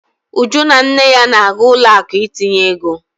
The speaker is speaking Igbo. Uju na nne ya na-aga ụlọ akụ ịtụnye ego.